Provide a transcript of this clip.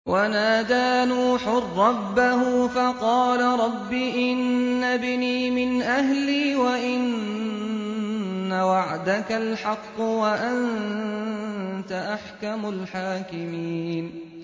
وَنَادَىٰ نُوحٌ رَّبَّهُ فَقَالَ رَبِّ إِنَّ ابْنِي مِنْ أَهْلِي وَإِنَّ وَعْدَكَ الْحَقُّ وَأَنتَ أَحْكَمُ الْحَاكِمِينَ